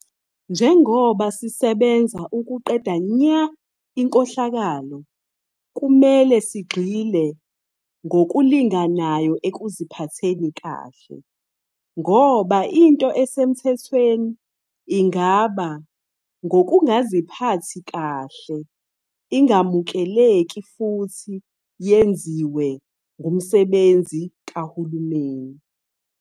Njengoba sisebenza ukuqeda nya inkohlakalo, kumele sigxile ngokulinganayo ekuziphatheni kahle, ngoba into esemthethweni ingaba ngukungaziphathi kahle ingamukeleki futhi yenziwe ngumsebenzi kahulumeni.